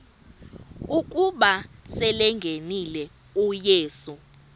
ukuba selengenile uyesu